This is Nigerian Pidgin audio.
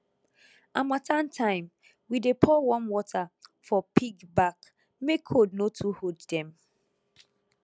harmattan time we dey pour warm water for pig back make cold no too hold dem